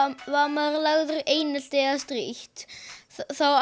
maður er lagður í einelti eða strítt þá